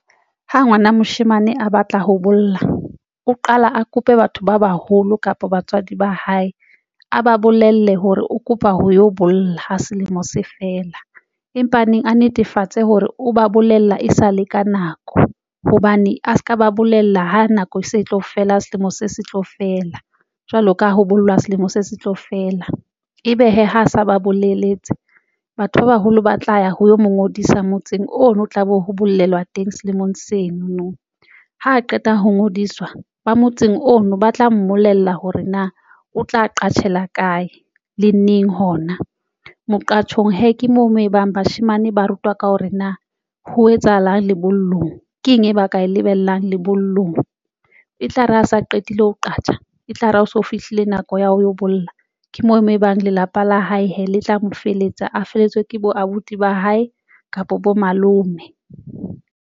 Ha ngwana moshemane a batla ho bolla o qala a kope batho ba baholo kapa batswadi ba hae, a ba bolelle hore o kopa ho yo bolla ha selemo se fela, empa a neng a netefatse hore o ba bolella e sale ka nako hobane a se ka ba bolella ho nako se tlo fela, selemo se se tlo fela jwalo ka ho bollwa selemo se se tlo fela. Ebe hee ha a sa ba boleletse batho ba baholo ba tla ya ho yo mo ngodisa motseng ono, tlabe ho bolelwa teng seemong seno no ha qeta ho ngodiswa ba motseng ono ba tla mmolella hore na o tla uqatshelwa kae le neng hona moo. Qatshong hee ke moo mo ebang bashemane ba rutwa ka hore na ho etsahalang lebollong, ke eng e ba ka e lebellang lebollong e tlare a sa qetile ho qasha, e tlare ha o so fihlile nako ya ho yo bolla ke moo mo ebang lelapa la hae hee le tla mo feletsa. A feletswe ke bo abuti ba hae kapa bo malome.